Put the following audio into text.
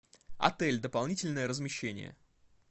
отель дополнительное размещение